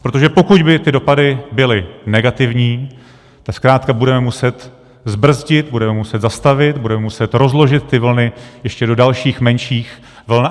Protože pokud by ty dopady byly negativní, tak zkrátka budeme muset zbrzdit, budeme muset zastavit, budeme muset rozložit ty vlny ještě do dalších menších vln.